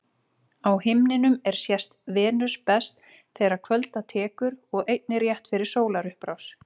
Á himninum er sést Venus best þegar kvölda tekur og einnig rétt fyrir sólarupprás.